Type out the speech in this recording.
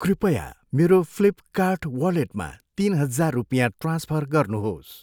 कृपया मेरो फ्लिपकार्ट वालेटमा तिन हजार रुपियाँ ट्रान्सफर गर्नुहोस्।